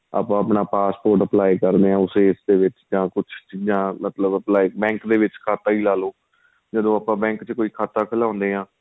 ਆਪਾਂ ਆਪਣਾ passport apply ਕਰਦੇ ਹਾਂ ਉਸ age ਦੇ ਵਿੱਚ ਜਾਂ ਕੁੱਛ ਜਾਂ ਮਤਲਬ apply bank ਦੇ ਵਿੱਚ ਖਾਤਾ ਹੀ ਲਾਲੋ ਜਦੋਂ ਆਪਾਂ bank ਵਿੱਚ ਕੋਈ ਖਾਤਾ ਖ਼ੁਲਾਉਣੇ ਹਾਂ